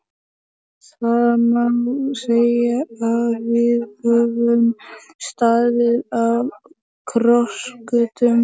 Það má segja að við höfum staðið á krossgötum.